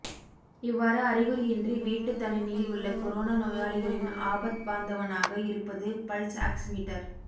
இவ்வாறு அறிகுறியின்றி வீட்டு தனிமையில் உள்ள கொரோனா நோயாளிகளின் ஆபத்பாந்தவனாக இருப்பது பல்ஸ் ஆக்சிமீட்டர்